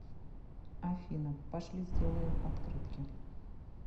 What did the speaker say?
афина пошли сделаем открытки